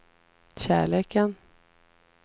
kärleken